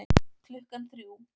Klukkan þrjú